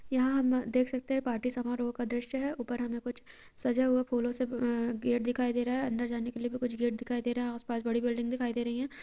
यहाँ हम देख सकते हैं पार्टी समारोह का दृश्य है| ऊपर हमें सजा हुआ फूलों से गेट दिखाई दे रहा है| अंदर जाने के लिए भी कुछ गेट दिखाई दे रहा है| आस-पास बड़ी बिल्डिंग दिखाई दे रही है। कुछ हमें पेड़-पोधे दिखाई दे रहे हैं पीछे बिजली के खम्भे दिखाई दे रहे है उसमे से तार जाते--